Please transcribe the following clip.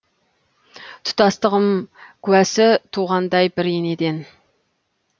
тұтастығым куәсі туғандай бір енеден